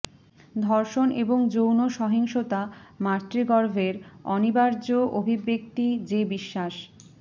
ধর্ষণ এবং যৌন সহিংসতা মাতৃগর্ভের অনিবার্য অভিব্যক্তি যে বিশ্বাস